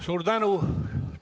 Suur tänu!